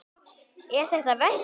Eða er þetta veski?